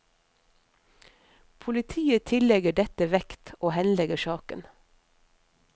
Politiet tillegger dette vekt, og henlegger saken.